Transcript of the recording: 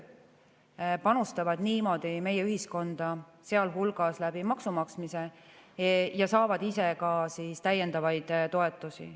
Nad panustavad niimoodi meie ühiskonda, sealhulgas läbi maksumaksmise, ja saavad ise ka täiendavaid toetusi.